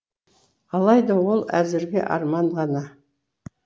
алайда ол әзірге арман ғана